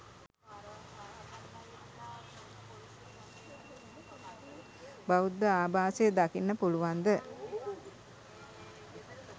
බෞද්ධ ආභාෂය දකින්න පුළුවන්ද?